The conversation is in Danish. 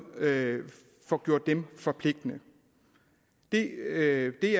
får gjort dem forpligtende det